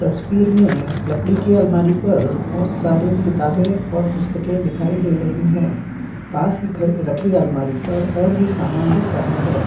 तस्वीर में लकड़ी के अलमारी पर बहुत सारे किताबें और पुस्तकें दिखाई दे रही हैं पास ही रखी अलमारी पर और भी सामान दिख रहा है।